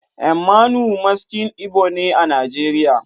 Mmanwu Maskin Igbo ne a Najeriya